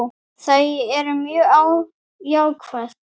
Þau eru mjög jákvæð.